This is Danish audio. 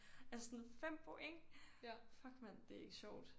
Altså sådan 5 point! Fuck mand det er ikke sjovt